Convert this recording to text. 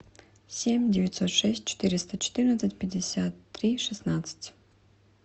семь девятьсот шесть четыреста четырнадцать пятьдесят три шестнадцать